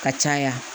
Ka caya